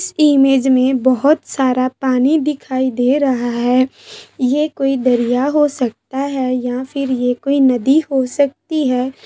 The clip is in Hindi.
इस इमेज में बहुत सारा पानी दिखाई दे रहा है ये कोई दरिया हो सकता है या फिर ये कोई नदी हो सकती है।